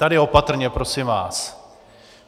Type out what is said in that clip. Tady opatrně prosím vás.